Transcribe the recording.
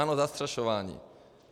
Ano, zastrašování.